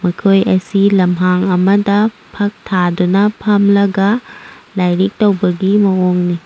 ꯃꯈꯣꯢ ꯑꯁꯤ ꯂꯝꯍꯡ ꯑꯃꯗ ꯐꯛ ꯊꯗꯨꯅ ꯐꯝꯂꯒ ꯂꯥꯢꯔꯤꯛ ꯇꯧꯕꯒꯤ ꯃꯑꯣꯡꯅꯤ꯫